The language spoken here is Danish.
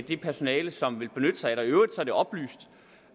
det personale som vil benytte sig af den i øvrigt er det oplyst